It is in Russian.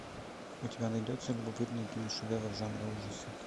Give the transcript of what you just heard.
у тебя найдется любопытный киношедевр жанра ужасы